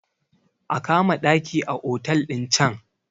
a kama ɗaki a otal ɗin can!